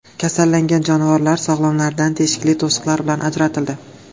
Kasallangan jonivorlar sog‘lomlaridan teshikli to‘siqlar bilan ajratildi.